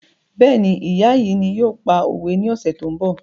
Béèni ìyá yìí ni yóò pa òwe ní ọ̀sẹ̀ tó ń bọ̀